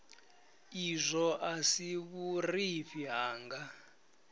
izwo a si vhurufhi hanga